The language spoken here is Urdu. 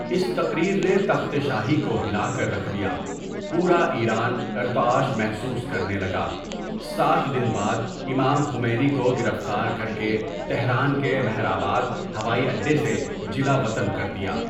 اس تقریر نے تخت شاہی کو ہلا کر رکھ دیا پورا ایران ارتعاش محسوس کرنے لگا سات دن بعد امام خمینى كو گرفتار کرکے تہران کے مہر آباد ہوائی اڈے سے جلا وطن کر دیا۔